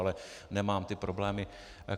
Ale nemám ty problémy.